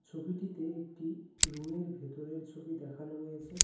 ছবিটিতে একটি রুমের ভেতরের ছবি দেখানো রয়েছে।